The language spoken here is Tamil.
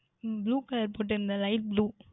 உம் Blue colour போட்டு போட்டு இருந்தேன் Light blue